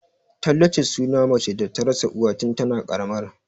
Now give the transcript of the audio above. Tallace suna mace da ta rasa uwa tun tana ƙaramar